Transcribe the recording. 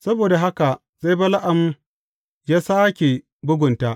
Saboda haka sai Bala’am ya sāke bugunta.